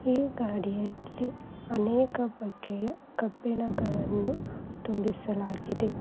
ಈ ಗಾಡಿಯಲ್ಲಿ ಅನೇಕ ಬಗ್ಗೆಯ ಕಬ್ಬಿಣಗಳನ್ನು ತುಂಬಿಸಲಾಗಿದೆ